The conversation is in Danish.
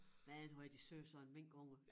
Men hvor er de søde sådan minkunger